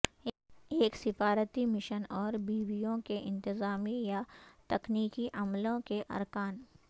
ایک سفارتی مشن اور بیویوں کے انتظامی یا تکنیکی عملے کے ارکان